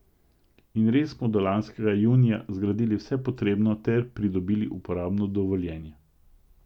In res smo do lanskega junija zgradili vse potrebno ter pridobili uporabno dovoljenje.